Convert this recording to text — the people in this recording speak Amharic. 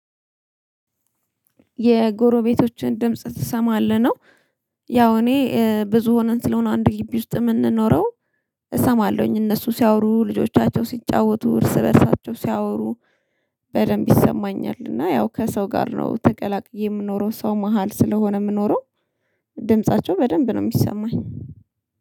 የጎሮቤቶችን ድምጽ ትሰማለህ ነው? ያው እኔ ብዙ ሆነን ስለሆነ አንድ ግቢ ውስጥ የምንኖረው እሰማለሁኝ እነሱ ሲያወሩ ልጆቻቸው ሲጫወቱ እርስ በእርሳቸው ሲያወሩ በደንብ ይሰማኛል። እና ያው ከሰው ጋር ነው ተቀላቅዬ የምኖረው ሰው መሃል ስለሆነ የምኖረው ድምፃቸው በደንብ ነው የሚሰማኝ